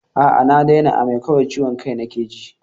A'a na daina amai, kawai ciwon kai nake ji.